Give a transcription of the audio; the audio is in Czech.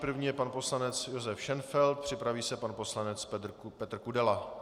První je pan poslanec Josef Šenfeld, připraví se pan poslanec Petr Kudela.